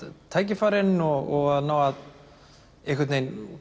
tækifærin og að ná að